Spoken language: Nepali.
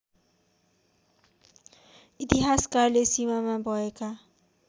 इतिहासकारले सीमामा भएका